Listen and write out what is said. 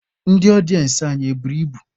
Ndị ọdịensị anyị e buru ibu?